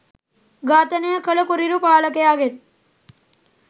ඝාතනය කළ කුරිරු පාලකයාගෙන්